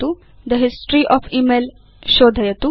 the history of email शोधयतु